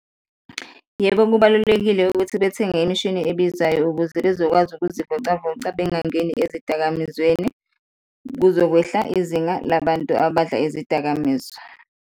Yebo, kubalulekile ukuthi bethenge imishini ebizayo ukuze bezokwazi ukuzivocavoca bangangeni ezidakamizweni, kuzokwehla izinga labantu abadla izidakamizwa.